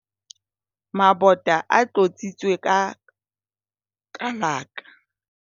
mabota a tlotsitswe ka kalaka